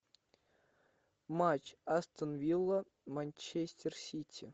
матч астон вилла манчестер сити